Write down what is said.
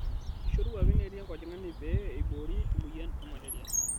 Eishoruaki neeti enkojing'ani pee eiboori emoyian e malaria